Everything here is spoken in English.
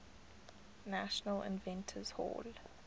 national inventors hall